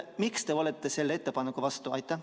Miks te olete selle ettepaneku vastu?